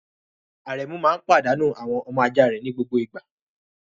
Arẹ́mu máa ń padànu àwọn ọmọ ajá rẹ ní gbogbo ìgbà.